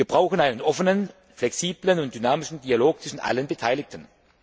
Wir brauchen einen offenen, flexiblen und dynamischen Dialog zwischen allen Beteiligten.